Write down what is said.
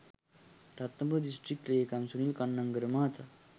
Ratnapura district ‍ලේකම් සුනිල් කන්නංගර මහතා